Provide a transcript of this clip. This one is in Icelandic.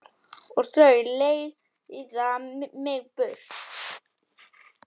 Og þau leiða mig burt.